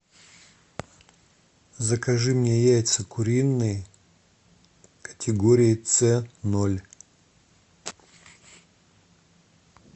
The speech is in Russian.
закажи мне яйца куриные категории ц ноль